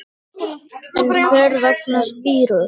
En hvers vegna spírur?